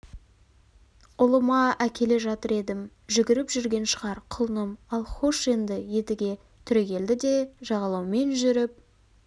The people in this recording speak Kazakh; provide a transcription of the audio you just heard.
ұлыма әкеле жатыр едім жүгіріп жүрген шығар құлыным ал хош енді едіге түрегелді де жағалаумен жүріп